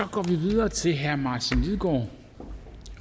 går vi videre til herre martin lidegaard